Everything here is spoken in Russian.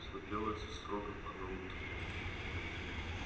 все делается строго по науке